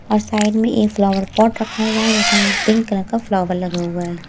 और साइड में एक फ्लावर पॉट रखा हुआ है जिसमें पिंक कलर का फ्लावर लगा हुआ है।